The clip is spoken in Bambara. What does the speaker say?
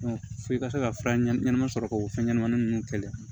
f'i ka se ka fura ɲɛnama ɲɛnama sɔrɔ ka o fɛn ɲɛnamanin ninnu kɛlɛ